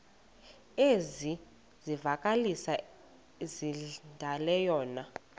ezikwezi zivakalisi zilandelayo